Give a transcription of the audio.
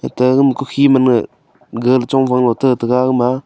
ate agama kukhi man ma galey chong fang lo te tega agama.